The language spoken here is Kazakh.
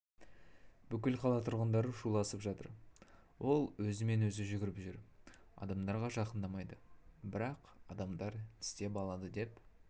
бүкіл қала тұрғындары шуласып жатыр ол өзімен-өзі жүгіріп жүр адамдарға жақындамайды бірақ адамдар тістеп алады деп